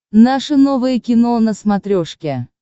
наше новое кино на смотрешке